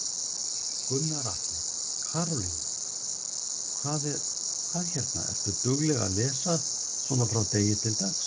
Gunnar Atli: Karólína, hvað hérna, ertu dugleg að lesa svona frá degi til dags?